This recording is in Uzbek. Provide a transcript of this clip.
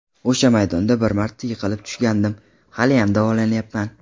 O‘sha maydonda bir marta yiqilib tushgandim, haliyam davolanayapman.